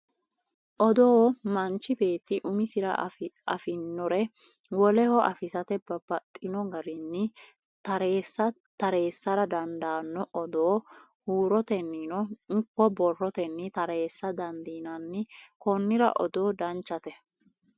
Odoo manchi beetti umisira afinore woleho afisate babbaxxino garinni tareessara dandaanno odoo huurotennino ikko borrotenni tareessa dandiinanni konnira odoo danchate